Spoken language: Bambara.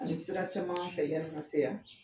Ani sira caman fɛ, yann'i ka se yan.